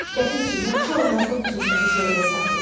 Ləpirçi, yaxşı olmazmı bu söhbəti sonraya saxlayaq?